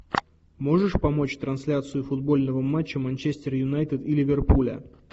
можешь помочь трансляцию футбольного матча манчестер юнайтед и ливерпуля